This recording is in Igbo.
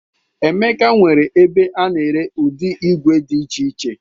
Emeka nwere ebe a na-ere ụdị igwe dị iche iche.